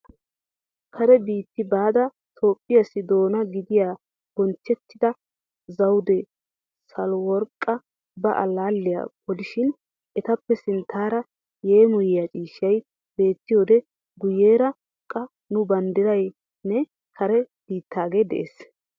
Kare biitti baada Toophpheessi doona gidiya bonchchettida Zawude Sahileworqqa ba allaalliya polishin. Etappe sinttaara yeemoyiya ciishshay beettiyode guyyeera qa nu banddiray nne kare biittaage de'es.